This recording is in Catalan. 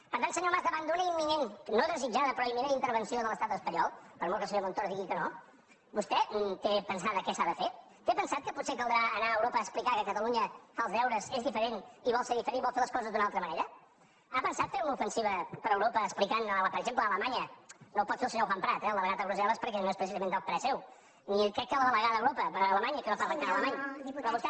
per tant senyor mas davant d’una imminent no desitjada però imminent intervenció de l’estat espanyol per molt que el senyor montoro digui que no vostè té pensat què s’ha de fer té pensat que potser caldrà anar a europa a explicar que catalunya fa els deures és diferent i vol ser diferent i vol fer les coses d’una altra manera ha pensat fer una ofensiva per europa explicant per exemple a alemanya no ho pot fer el senyor juan prat eh el delegat a brusselés precisament del parer seu ni crec que la delegada a europa a alemanya que no parla encara alemany però vostè